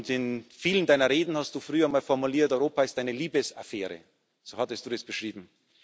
In vielen Deiner Reden hast du früher mal formuliert Europa ist eine Liebesaffäre, so hattest Du es beschrieben.